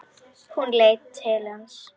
Hún leit til hans.